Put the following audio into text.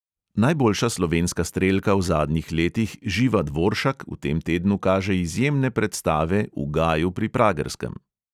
Najboljša slovenska strelka v zadnjih letih živa dvoršak v tem tednu kaže izjemne predstave v gaju pri pragerskem.